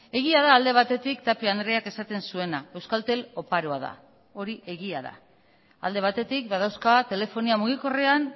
egia da alde batetik tapia andreak esaten zuena euskaltel oparoa da hori egia da alde batetik badauzka telefonia mugikorrean